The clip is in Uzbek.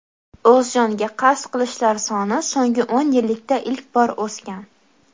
o‘z joniga qasd qilishlar soni so‘nggi o‘n yillikda ilk bor o‘sgan.